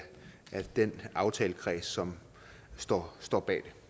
den aftalekreds som står står bag